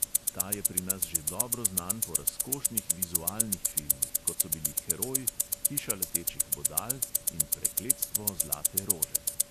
Ta je pri nas že dobro znan po razkošnih vizualnih filmih, kot so bili heroj, hiša letečih bodal in prekletstvo zlate rože.